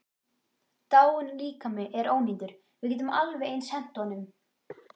Dáinn líkami er ónýtur, við getum alveg eins hent honum.